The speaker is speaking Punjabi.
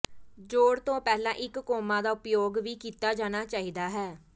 ਜੋੜ ਤੋਂ ਪਹਿਲਾਂ ਇੱਕ ਕੌਮਾ ਦਾ ਉਪਯੋਗ ਵੀ ਕੀਤਾ ਜਾਣਾ ਚਾਹੀਦਾ ਹੈ